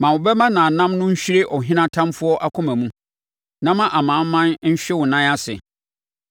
Ma wo bɛmma namnam no nhwere ɔhene atamfoɔ akoma mu; na ma amanaman nhwe wo nan ase.